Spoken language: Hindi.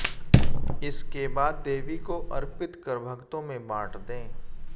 इसके बाद देवी को अर्पित कर भक्तों में बांट दें